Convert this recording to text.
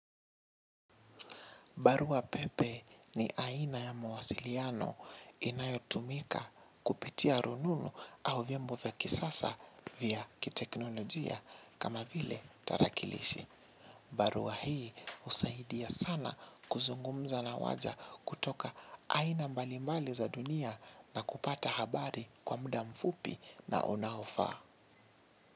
Barua pepe ni aina ya mawasiliano inayotumika kupitia rununu au vyombo vya kisasa vya kiteknolojia kama vile tarakilishi. Barua hii husaidia sana kuzungumza na watu kutoka aina mbalimbali za dunia na kupata habari kwa muda mfupi na unaofaa.